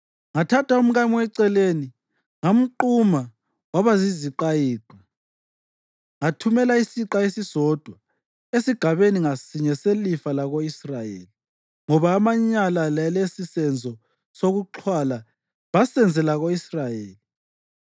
Ngathatha umkami weceleni, ngamquma waba yiziqayiqa, ngathumela isiqa esisodwa esigabeni ngasinye selifa lako-Israyeli, ngoba amanyala lalesisenzo sokuxhwala basenzela ko-Israyeli.